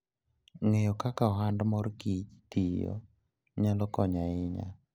Ng'eyo kaka ohand mor kich tiyo nyalo konyo ahinya.